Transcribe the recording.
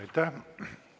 Aitäh!